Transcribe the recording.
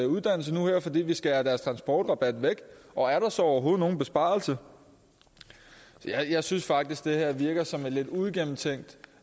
uddannelse fordi vi skærer deres transportrabat væk og er der så overhovedet nogen besparelse jeg synes faktisk det her virker som et lidt uigennemtænkt